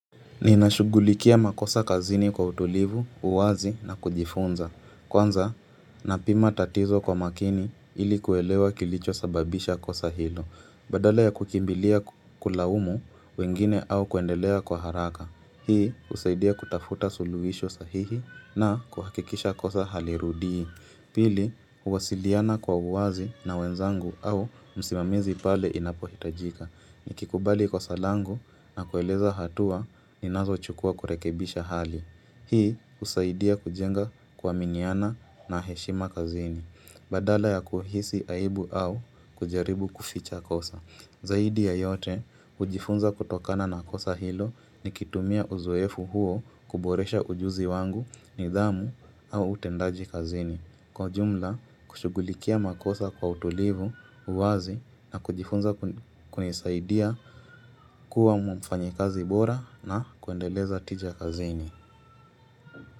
Ninashughulikia makosa kazini kwa utulivu, uwazi na kujifunza. Kwanza napima tatizo kwa makini ili kuelewa kilichosababisha kosa hilo. Badala ya kukimbilia kulaumu wengine au kuendelea kwa haraka. Hii usaidia kutafuta suluisho sahihi na kuhakikisha kosa halirudii. Pili, uwasiliana kwa uwazi na wenzangu au msimamizi pale inapohitajika. Nikikubali kosa langu na kueleza hatua, ninazochukua kurekebisha hali. Hii, usaidia kujenga kuaminiana na heshima kazini. Badala ya kuhisi aibu au kujaribu kuficha kosa. Zaidi ya yote, ujifunza kutokana na kosa hilo nikitumia uzoefu huo kuboresha ujuzi wangu nidhamu au utendaji kazini. Kwa jumla, kushugulikia makosa kwa utulivu, uwazi na kujifunza kunisaidia kuwa mfanyikazi bora na kuendeleza tija kazini.